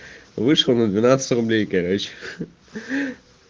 вышла на двенадцать рублей короче ха